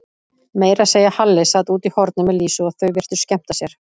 Meira að segja Halli sat úti í horni með Lísu og þau virtust skemmta sér.